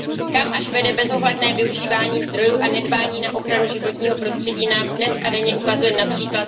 Kam až vede bezohledné využívání zdrojů a nedbání na ochranu životního prostředí nám dnes a denně ukazuje např.